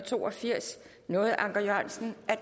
to og firs nåede anker jørgensen at